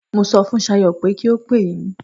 Mo sọ fun Sayo pé kí ó pè yín.